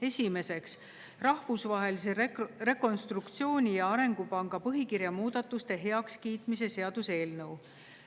Esiteks, Rahvusvahelise Rekonstruktsiooni‑ ja Arengupanga põhikirja muudatuste heakskiitmise seaduse eelnõu.